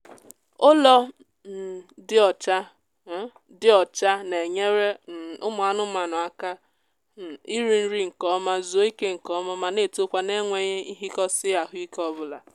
ụlọ um dị ọcha um dị ọcha na-enyere um ụmụ anụmaanụ aka um iri nri nkeọma zuo ike nkeọma ma na-etokwa n'enweghị nhikosi ahụike obula